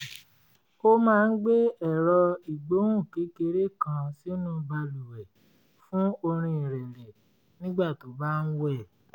ó máa ń gbé ẹ̀rọ ìgbohùn kékeré kan sínú balùwẹ̀ fún orin ìrẹ̀lẹ̀ nígbà tó bá ń wẹ̀